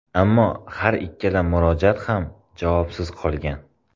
Ammo har ikkala murojaat ham javobsiz qolgan.